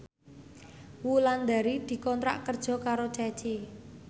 Wulandari dikontrak kerja karo Ceci